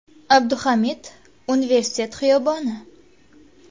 Abduhamid Universitet xiyoboni.